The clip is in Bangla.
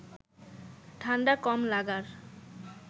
ঠাণ্ডা কম লাগার